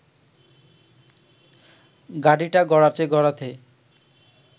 গাড়িটা গড়াতে গড়াতে